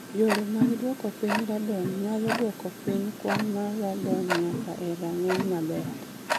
Yore mag dwoko piny radon nyalo dwoko piny kwan mar radon nyaka e rang�iny maber.